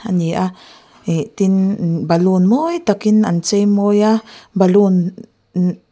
ani a ihh tin umm baloon mawi tak in an chei mawi a baloon umm--